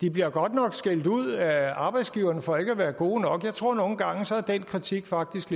de bliver godt nok skældt ud af arbejdsgiverne for ikke at være gode nok jeg tror at den kritik faktisk